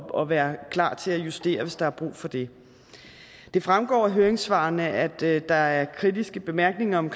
og være klar til at justere hvis der er brug for det det fremgår af høringssvarene at der er kritiske bemærkninger om